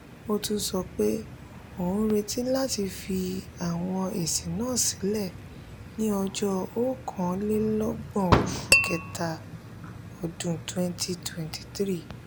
ó tún sọ pé òun ń retí láti fi àwọn èsì náà sílẹ̀ ní ọjọ́ okàn-lé-ló-gbòn oṣù kẹta ọdún twenty twenty three.